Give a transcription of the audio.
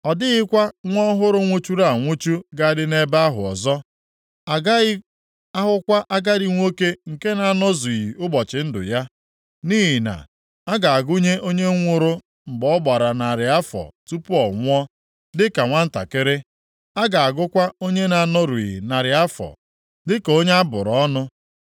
“Ọ dịghịkwa nwa ọhụrụ nwụchuru anwụchu ga-adị nʼebe ahụ ọzọ, + 65:20 Nwa nwụrụ mgbe ọ ka dị naanị abalị ole na ole a gaghị ahụkwa agadi nwoke nke na-anọzughị ụbọchị ndụ ya; nʼihi na a ga-agụnye onye nwụrụ mgbe ọ gbara narị afọ tupu ọ nwụọ dị ka nwantakịrị; a ga-agụkwa onye na-anọrughị narị afọ dịka onye a bụrụ ọnụ.